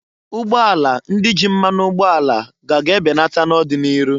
Ugbọala ndị ji mmanụ ụgboala a ga ga ebenata n'ọdị n'iru.